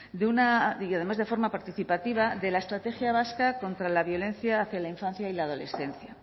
de una y además de forma participativa de la estrategia vasca contra la violencia hacia la infancia y la adolescencia